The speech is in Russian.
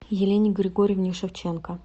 елене григорьевне шевченко